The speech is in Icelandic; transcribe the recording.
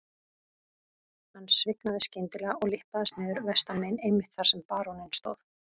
Hann svignaði skyndilega og lyppaðist niður vestanmegin einmitt þar sem baróninn stóð.